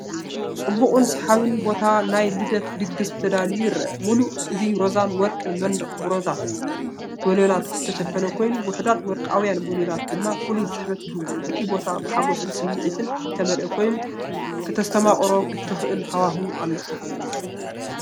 ጽቡቕን ሰሓብን ቦታ ንናይ ልደት ድግስ ተዳልዩ ይረአ። ምሉእ እቲ ሮዛን ወርቅን መንደቕ ብሮዛ ባሎናት ዝተሸፈነ ኮይኑ፡ ውሑዳት ወርቃውያን ባሎናት ድማ ፍሉይ ስሕበት ይህብዎ። እቲ ቦታ ብሓጎስን ሳዕስዒትን ዝተመልአ ኮይኑ፡ ከተስተማቕሮ እትኽእል ሃዋህው ኣሎ።